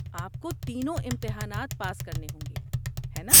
آپ کو تینوں امتحانات پاس کرنے ہوں گے، ہے ناں؟